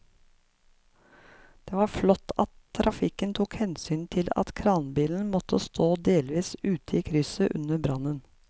Det var flott at trafikken tok hensyn til at kranbilen måtte stå delvis ute i krysset under brannen.